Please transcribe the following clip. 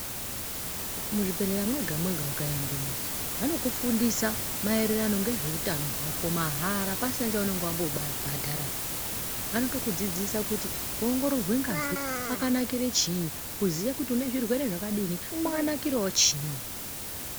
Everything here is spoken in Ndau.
Muzvibhedhlera mwega mwega ukaendemo vanokufundisa maererano nezveutano wako mahara pasina chaunenge wambobhadhara anotokudzidzisa kuti kuongorerwe ngazi kwakanakire chiini kuziye kuti une zvirwere zvakadini kwakanakirawo chiini.